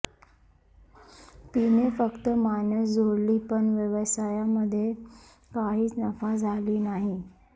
तिने फक्त माणस जोडली पण व्यवसायामध्ये काहीच नफा झाला नाही